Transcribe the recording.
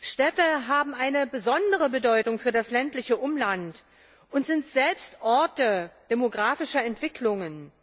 Städte haben eine besondere Bedeutung für das ländliche Umland und sind selbst Orte demografischer Entwicklungen.